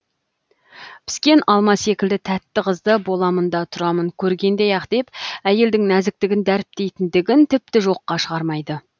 піскен алма секілді тәтті қызды боламын да тұрамын көргендей ақ деп әйелдің нәзіктігін дәріптейтіндігін тіпті жоққа шығармайды